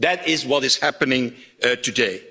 That is what is happening today.